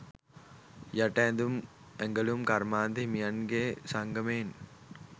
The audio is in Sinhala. යට ඇඳුම් ඇඟලුම් කර්මාන්ත හිමියන්ගෙ සංගමයෙන්.